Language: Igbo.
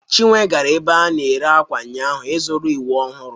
Chinwe gara ebe a na-ere akwa ụnyaahụ ịzụrụ uwe ọhụrụ.